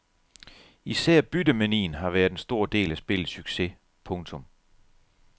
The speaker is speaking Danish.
Især byttemanien har været en stor del af spillets succes. punktum